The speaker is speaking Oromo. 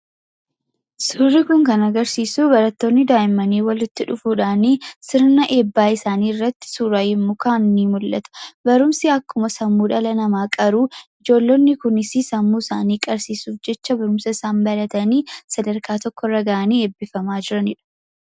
Suurri kun kan agarsiisu barattoonni daa'imman walitti dhufuudhaan, sirna eebbaa isaanii irratti suuraa yommuu ka'an ni mul'ata. Barumsi akkuma sammuu dhala namaa qaru ijoollonni kunis sammuu isaanii qarsiisuuf jecha barumsa isaan baratanii sadarkaa tokko irra gahanii eebbifamaa jiranidha.